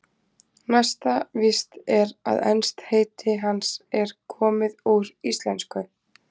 Næsta víst er að enskt heiti hans er komið úr íslensku.